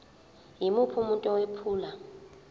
yimuphi umuntu owephula